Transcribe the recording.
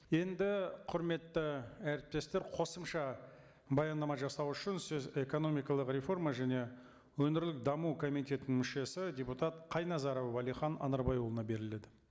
енді құрметті әріптестер қосымша баяндама жасау үшін сөз экономикалық реформа және өңірлік даму комитетінің мүшесі депутат қайназаров уәлихан анарбайұлына беріледі